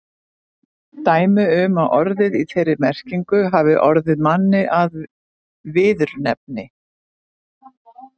Dæmi er um að orðið í þeirri merkingu hafi orðið manni að viðurnefni.